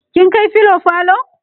kin kai filo falo?